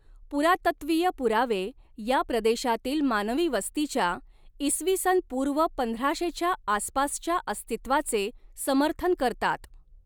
पुरातत्वीय पुरावे या प्रदेशातील मानवी वस्तीच्या इसवी सन पूर्व पंधराशेच्या आसपासच्या अस्तित्वाचे समर्थन करतात.